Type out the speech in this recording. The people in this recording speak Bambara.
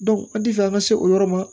an ti fɛ an ka se o yɔrɔ ma